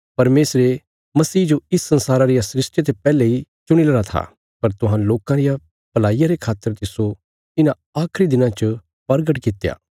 परमेशरे मसीह जो इस संसारा रिया सृष्टिया ते पैहले इ चुणीलरा था पर तुहां लोकां रिया भलाईया रे खातर तिस्सो इन्हां आखरी दिनां च प्रगट कित्या